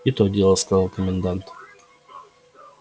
и то дело сказал комендант